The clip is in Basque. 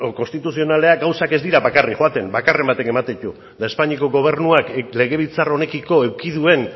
konstituzionalean gauzak ez dira bakarrik joaten bakarren batek ematen ditu eta espainiako gobernuak legebiltzar honekiko eduki duen